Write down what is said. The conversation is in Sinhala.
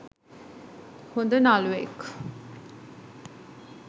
හොඳ නළුවෙක්.